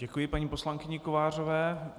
Děkuji paní poslankyni Kovářové.